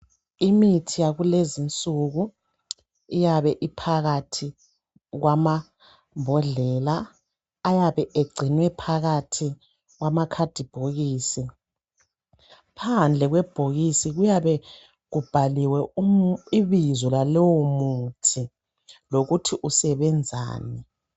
imithi yakulezinsuku iyabe iphakathi kwamambodlela ayabe egcinwe phakathi kwamakhathi bhokisi phandle kwebhokisis kuyabe kubhaliwe ibizo lalowo muthi lokuthi usebenzani